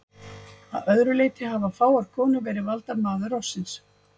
Að öðru leyti hafa fáar konur verið valdar maður ársins.